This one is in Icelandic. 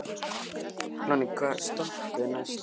Nonni, hvaða stoppistöð er næst mér?